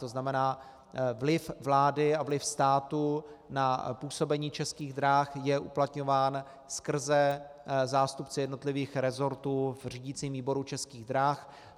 To znamená, vliv vlády a vliv státu na působení Českých drah je uplatňován skrze zástupce jednotlivých resortů v řídicím výboru Českých drah.